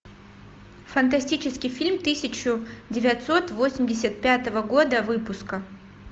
фантастический фильм тысячу девятьсот восемьдесят пятого года выпуска